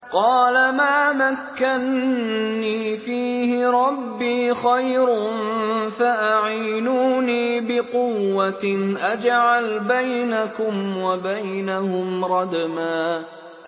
قَالَ مَا مَكَّنِّي فِيهِ رَبِّي خَيْرٌ فَأَعِينُونِي بِقُوَّةٍ أَجْعَلْ بَيْنَكُمْ وَبَيْنَهُمْ رَدْمًا